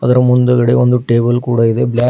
ಅದರ ಮುಂದುಗಡೆ ಒಂದು ಟೇಬಲ್ ಕೂಡ ಇದೆ ಬ್ಲಾಕ್ --